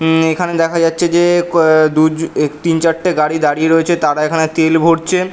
উম এখানে দেখা যাচ্ছে যে ক দুএ তিন চারটে গাড়ি দাঁড়িয়ে রয়েছে তারা এখানে তেল ভরছে।